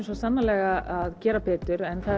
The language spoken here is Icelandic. svo sannarlega að gera betur en